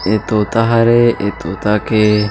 ए तोता हरे ए तोता के --